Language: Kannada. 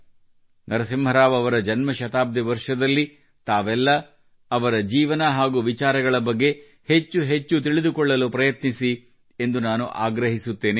ನರಸಿಂಹ ರಾವ್ ಅವರ ಜನ್ಮಶತಾಬ್ದಿ ವರ್ಷದಲ್ಲಿ ತಾವೆಲ್ಲ ಅವರ ಜೀವನ ಹಾಗೂ ವಿಚಾರಗಳ ಬಗ್ಗೆ ಹೆಚ್ಚು ಹೆಚ್ಚು ತಿಳಿದುಕೊಳ್ಳಲು ಪ್ರಯತ್ನಿಸಿ ಎಂದು ನಾನು ಆಗ್ರಹಿಸುತ್ತೇನೆ